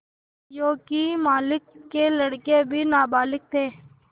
योंकि मालिक के लड़के अभी नाबालिग थे